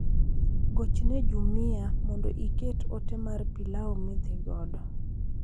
Gochne jumia mondo iket ote mar pilau midhigodo